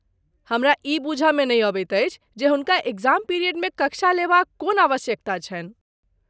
हमरा ई बूझ मे नहि अबैत अछि जे हुनका एग्जाम पिरियड मे कक्षा लेबा क कोन आवश्यकता छन्हि।